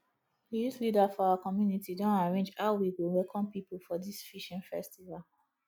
di youth leader for our community don arrange how we go welcome people for dis fishing festival